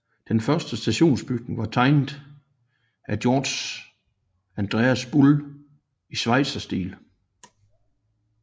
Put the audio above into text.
Den første stationsbygning var tegnet af Georg Andreas Bull i schweizerstil